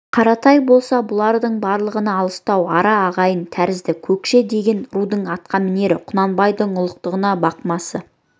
қаратай болса бұлардың барлығына алыстау ара ағайын тәрізді көкше деген рудың атқамінері құнанбайдың ұлықтығына бақ масы